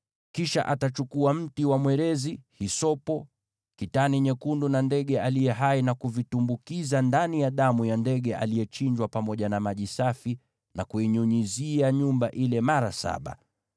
Kisha atachukua mti wa mwerezi, hisopo, kitani nyekundu na ndege aliye hai, na kuvitumbukiza ndani ya damu ya ndege aliyechinjwa pamoja na maji safi, na kuinyunyizia nyumba ile mara saba.